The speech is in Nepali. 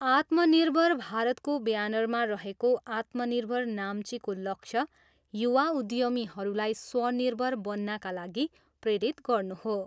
अत्मनिर्भर भारतको ब्यानरमा रहेको आत्मनिर्भर नाम्चीको लक्ष्य युवा उद्यमीहरूलाई स्वनिर्भर बन्नाका लागि प्रेरित गर्नु हो।